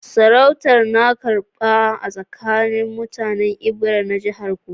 Sarautar na karba-karba a tsakanin mutanen Ebira na jihar Kogi